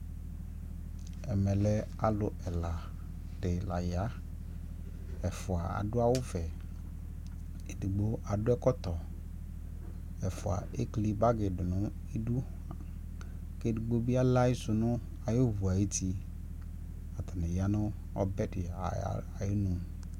ɛmɛlɛ alʋ ɛla di la ya, ɛƒʋa adʋ awʋ vɛ, ɛdigbɔ adʋ ɛkɔtɔ, ɛƒʋa ɛkli bagi dʋnʋ idʋ kʋ ɛdigbɔ bi alɛ ayisʋ nʋ ayi vʋ ayiti, atani yanʋɔbɛ di ayinʋ